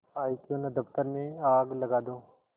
आयीक्यों न दफ्तर में आग लगा दूँ